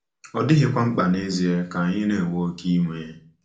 Ọ dịghịkwa mkpa nezie ka anyị na-ewe oké iwe.